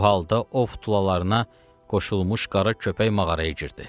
Bu halda ov futulalarına qoşulmuş qara köpək mağaraya girdi.